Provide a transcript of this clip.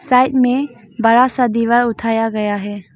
Side में बड़ा सा दीवार उठाया गया है।